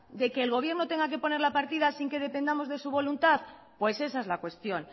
de que el gobierno tenga que poner la partida sin que dependamos de su voluntad pues esa es la cuestión